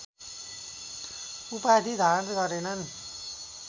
उपाधि धारण गरेनन्